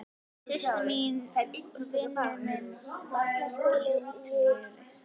Systir mín vinnur í Utanríkisráðuneytinu.